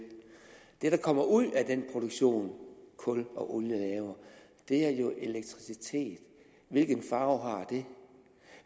det der kommer ud af den produktion kul og olie laver er jo elektricitet hvilken farve har det